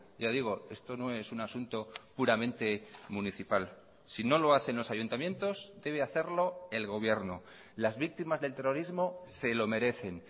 ya digo esto no es un asunto puramente municipal si no lo hacen los ayuntamientos debe hacerlo el gobierno las víctimas del terrorismo se lo merecen